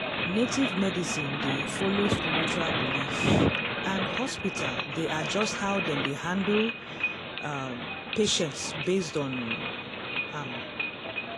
native medicine dey follow spiritual belief and hospital dey adjust how dem dey handle um patient based on um am.